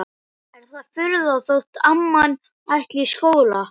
Er það furða þótt amman ætli í skóla?